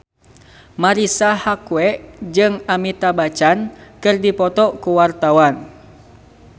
Marisa Haque jeung Amitabh Bachchan keur dipoto ku wartawan